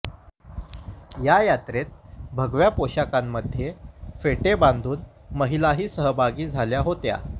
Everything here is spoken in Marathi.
या यात्रेत भगव्या पोशाखांमध्ये फेटे बांधून महिलाही सहभागी झाल्या होत्या